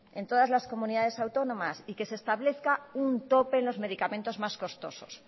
en todas las comunidades autónomas y que se establezca un tope en los medicamentos más costosos